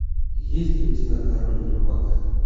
есть ли у тебя король рыбак